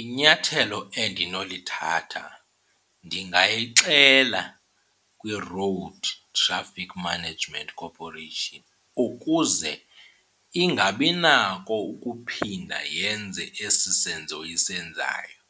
Inyathelo endinolithatha ndingayixela kwiRoad Traffic Management Corporation ukuze ingabi nako ukuphinda yenze esi senzo isenzayo.